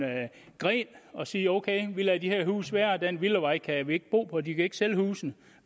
gren og sige ok vi lader de her huse være og den villavej kan vi ikke bo på de kan ikke sælge husene